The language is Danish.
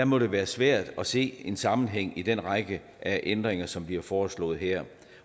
må det være svært at se en sammenhæng i den række af ændringer som bliver foreslået her